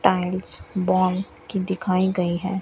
Tiles brown की दिखाई गई है।